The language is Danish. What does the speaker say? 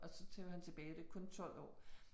Og så tog han tilbage, det kun 12 år